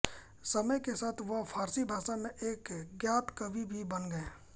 समय के साथ वह फारसी भाषा में एक ज्ञात कवि भी बन गए